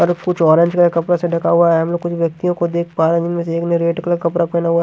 और कुछ ऑरेंज के कपड़ा से ढका हुआ है हम लोग कुछ व्यक्तियों को देख पा रहे हैं जिनमें से एक ने रेड कलर का कपड़ा पहना हुआ --